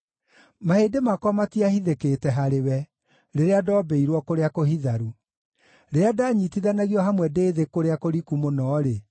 Mahĩndĩ makwa matiahithĩkĩte harĩwe, rĩrĩa ndoombĩirwo kũrĩa kũhitharu. Rĩrĩa ndanyiitithanagio hamwe ndĩ thĩ kũrĩa kũriku mũno-rĩ,